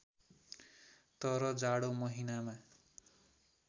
तर जाडो महिनामा